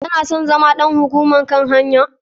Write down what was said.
Kana son zama ɗan hukumar kan hanya?